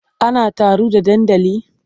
An taru a dandali?